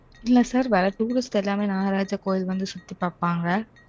இல்லை sir வர்ற touristக்கு எல்லாமே, நாகராஜா கோயில் வந்து சுத்தி பாப்பாங்க